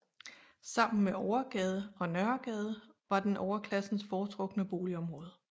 Sammen med Overgade og Nørregade var den overklassens foretrukne boligområde